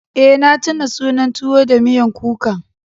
Eh na tuna sunan tuwo da miyan kuka.